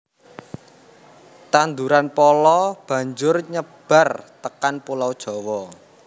Tanduran pala banjur nyebar tekan pulau Jawa